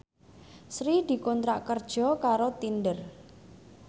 Sri dikontrak kerja karo Tinder